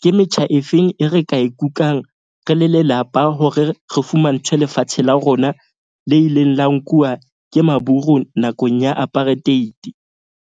ke metjha efeng e re ka e kukang, re le lelapa hore re fumantshwe lefatshe la rona le ileng la nkuwa ke Maburu nakong ya apartheid.